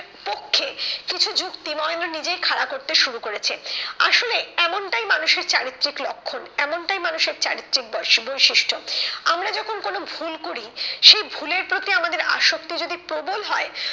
পক্ষে কিছু যুক্তি মহেন্দ্র নিজেই খাড়া করতে শুরু করেছে। আসলে এমনটাই মানুষের চারিত্রিক লক্ষণ এমনটাই মানুষের চারিত্রিক বস বৈশিষ্ট্য। আমরা যখন কোনো ভুল করি সেই ভুলের প্রতি আমাদের আসক্তি যদি প্রবল হয়,